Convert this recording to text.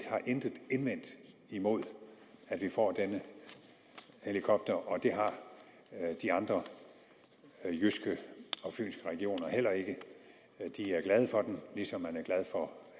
har intet indvendt imod at vi får denne helikopter og det har de andre jyske og fynske regioner heller ikke de er glade for den ligesom man er glad for